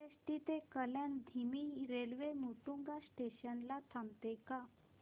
CST ते कल्याण धीमी railway Matunga station ला थांबते का